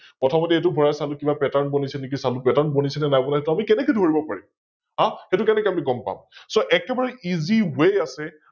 প্ৰথমতে ভৰাই A চালো কিবা Pattern বনিছে নে কি চালো, Pattern বনিচে নে নাই বনা আমি কেনেকৈ ধৰিব পাৰিম, হাঃ সৈতু কেনেকৈ আমি গম পাম? So একেবাৰে আছে EssayWay আছে